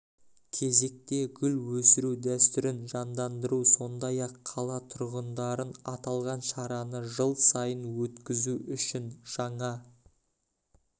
кезекте гүл өсіру дәстүрін жандандыру сондай-ақ қала тұрғындарын аталған шараны жыл сайын өткізу үшін жаңа